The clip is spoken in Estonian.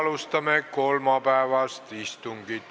Alustame kolmapäevast istungit.